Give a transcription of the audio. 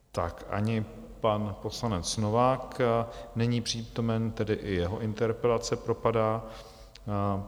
Tak, ani pan poslanec Novák není přítomen, tedy i jeho interpelace propadá.